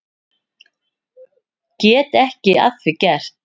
Get ekki að því gert.